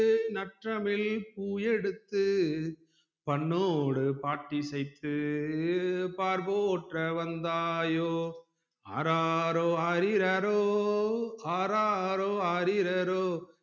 நற்றமிழ் பூ எடுத்து பண்ணோடு பாட்டு இசைத்து பார்போற்ற வந்தாய்யோஆராரோ ஆரிராரோ ஆராரோ ஆரிராரோ